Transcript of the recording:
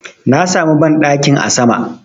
Na samu banɗakin a sama